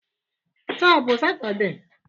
Taa ọ bụ Satọde?